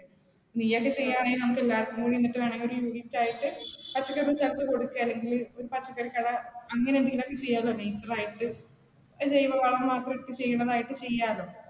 നീയത് ചെയ്യാണെങ്കിൽ നമുക്ക് എല്ലാവർക്കും കൂടി നിന്നിട്ട് വേണമെങ്കിൽ ഒരു unit ആയിട്ട്, ഒരു പച്ചക്കറി കട അങ്ങനെ എന്തെങ്കിലും ഒക്കെ ചെയ്യാലോ . ജൈവവളം മാത്രമിട്ട് ചെയ്യണതായിട്ട് ചെയ്യാലോ